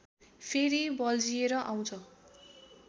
फेरि बल्झिएर आउँछ